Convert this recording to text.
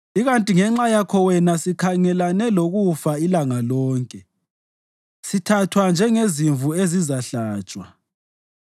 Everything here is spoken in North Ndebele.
Ikanti ngenxa yakho wena sikhangelane lokufa ilanga lonke; sithathwa njengezimvu ezizahlatshwa.